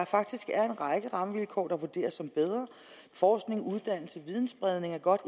faktisk er en række rammevilkår der vurderes som bedre forskning uddannelse og videnspredning er godt